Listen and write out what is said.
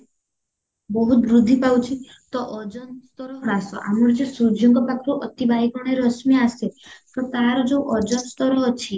ବହୁତ ବୃଦ୍ଧି ପାଉଚି ତ ଅଜନ୍ତର ଗ୍ରାସ ଆମର ଯେ ସୂର୍ଯ୍ୟଙ୍କ ପାଖରୁ ଅତି ବାଇଗଣ ରଶ୍ମି ଆସେ ତ ତାର ଯୋଉ ଅଜନ୍ତର ଅଛି